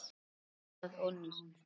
Allt var notað og nýtt.